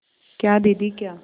क्या दीदी क्या